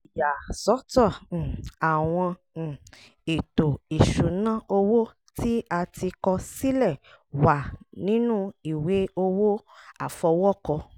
ìyàsọ́tọ̀ um àwọn um ètò ìṣúná owó tí a ti kọ sílẹ̀ wà nínu ìwé owó àfọwọ́kọ